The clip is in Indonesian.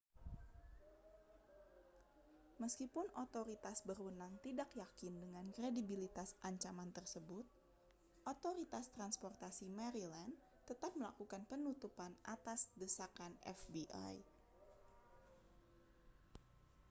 meskipun otoritas berwenang tidak yakin dengan kredibilitas ancaman tersebut otoritas transportasi maryland tetap melakukan penutupan atas desakan fbi